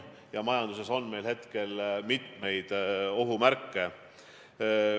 Ja majanduses on ohumärke palju.